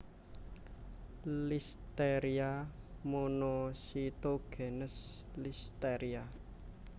Listeria monocytogenes listeria